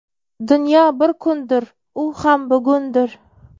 Dunyo bir kundir - u ham bugundir.